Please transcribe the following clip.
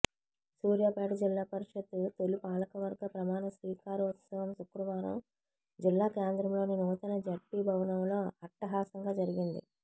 సూర్యాపేట జిల్లా పరిషత్ తొలి పాలకవర్గ ప్రమాణస్వీకారోత్సవం శుక్రవారం జిల్లాకేంద్రంలోని నూతన జడ్పీ భవనంలో అట్టహాసంగా జరిగింది